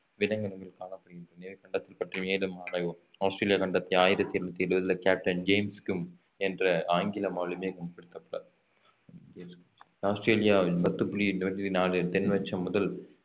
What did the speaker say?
விலங்கினங்கள் காணப்படுகின்றது எனவே கண்டத்தை பற்றி மேலும் ஆராய்வோம் ஆஸ்திரேலியா கண்டத்தை ஆயிரத்தி எண்ணூத்தி எழுபதிலே கேப்டன் ஜேம்ஸ் குக் என்ற ஆங்கில மாலுமி கண்டுபிடித்துள்ளார் ஆஸ்திரேலியா பத்து புள்ளி எண்பத்தி நாலு தென்னசம் முதல்